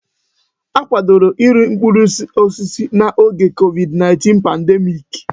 Akwadoro iri mkpụrụ osisi n'oge COVID-19 pandemiiki.